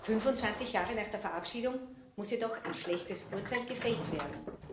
25 Jahre nach der Verabschiedung muss jedoch ein schlechtes Urteil gefällt werden.